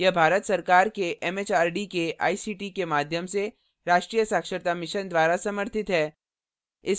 यह भारत सरकार के एमएचआरडी के आईसीटी के माध्यम से राष्ट्रीय साक्षरता mission द्वारा समर्थित है